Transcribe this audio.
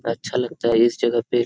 अच्छा लगता है इस जगह पे --